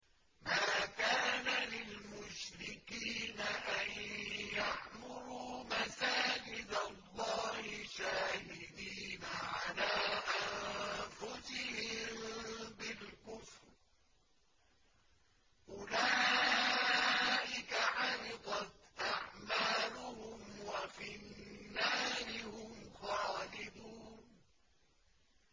مَا كَانَ لِلْمُشْرِكِينَ أَن يَعْمُرُوا مَسَاجِدَ اللَّهِ شَاهِدِينَ عَلَىٰ أَنفُسِهِم بِالْكُفْرِ ۚ أُولَٰئِكَ حَبِطَتْ أَعْمَالُهُمْ وَفِي النَّارِ هُمْ خَالِدُونَ